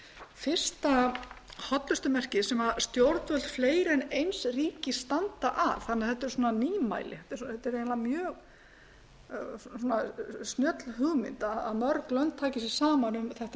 fyrsta hollustumerkið sem stjórnvöld fleiri en eins ríkis standa að þannig að þetta er nýmæli þetta er mjög snjöll hugmynd að mörg lönd taki sig saman um þetta